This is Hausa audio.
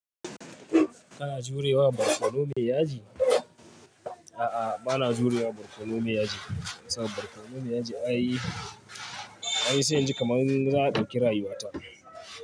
Kana jurewa barkono mai yaji? A'a, ba na jurewa barkono me yaji, saboda barkonon me yaji ai, ai sai inji kaman za a ɗauki rayuwata.